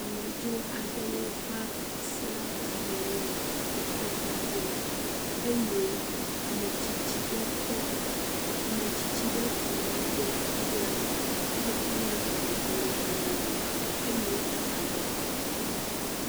Amedzra aɖewo va srã amewo le kɔƒe aɖe me eye ame tsitsi ɖe kunu ɖe etre me he kɔ ne amedzrowo bɔ no no eye eda avɔ ɖe abɔ.